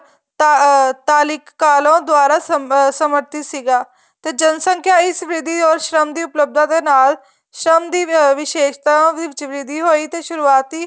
ਅਹ ਤਾਲੀਕ ਕਾਲੋ ਦੁਆਰਾ ਸਮਥਿਤ ਸੀਗਾ ਤੇ ਜਨਸੰਖਿਆ ਇਸ ਵਿਧੀ or ਸ਼ਰਮ ਦੀ ਉੱਪਲਧਾ ਦੇ ਨਾਲ ਸ਼ਰਮ ਦੀ ਵਿਸ਼ੇਸਤਾ ਵਿੱਚ ਵਿਰ੍ਧੀ ਹੋਈ ਤੇ ਸ਼ੁਰੂਆਤੀ